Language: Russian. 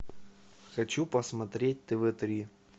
хочу посмотреть тв три